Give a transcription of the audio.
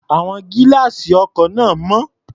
Àwọn gílá́àsì ọkọ̀ náà mọ́.